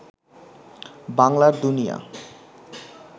বাংলার দুনিয়া